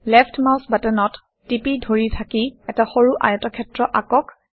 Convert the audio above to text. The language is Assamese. লেফট্ মাউচ বাটনত টিপি ধৰি থাকি এটা সৰু আয়তক্ষেত্ৰ আঁকক